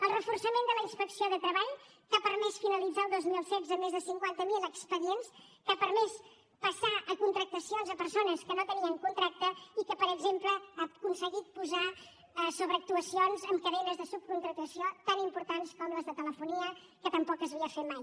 el reforçament de la inspecció de treball que ha permès finalitzar el dos mil setze amb més de cinquanta mil expedients que ha permès passar a contractacions persones que no tenien contracte i que per exemple ha aconseguit posar actuacions en cadenes de subcontractació tan importants com les de telefonia que tampoc s’havia fet mai